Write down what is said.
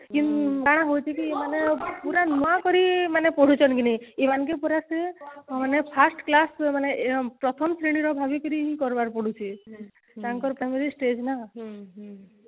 କଣ ହଉଛି କି ମାନେ ପୁରା ନୂଆକିରି ମାନେ ପଢୁଛନ କି ନାଇଁ ଇମାନକେ ପୁରା ସେ ମାନେ first class ସେ ମାନେ ଆଁ ପ୍ରଥମ ଶ୍ରେଣୀ ର ଭାବିକିରି ହିଁ କରିବାର ପଡୁଛି ତାଙ୍କର ଏଇ stage ନା